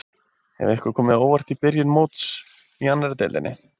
Hefur eitthvað komið þér á óvart í byrjun móts í annarri deildinni?